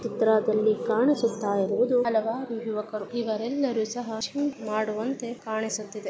ಈ ಚಿತ್ರದಲ್ಲಿ ಕಾಣಿಸುತ್ತಾ ಇರುವುದು ಹಲವಾರು ಯುವಕರು. ಇವರೆಲ್ಲರೂ ಸಹ ಜಿಮ್ ಮಾಡುವಂತೆ ಕಾಣಿಸುತ್ತಿದೆ.